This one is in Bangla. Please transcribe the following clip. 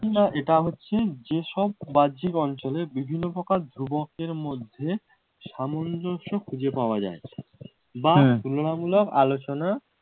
এইরকম বা এটা হচ্ছে এসব বাহ্যিক অঞ্চলে বিভিন্ন প্রকার ধ্রুবকের মধ্যে সামঞ্জস্য খুঁজে পাওয়া যায় বা তুলনামূলক আলোচনা